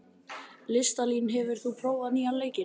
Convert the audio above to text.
Listalín, hefur þú prófað nýja leikinn?